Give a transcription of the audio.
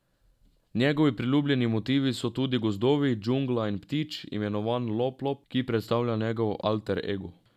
Njegovi priljubljeni motivi so tudi gozdovi, džungla in ptič, imenovan Loplop, ki predstavlja njegov alter ego.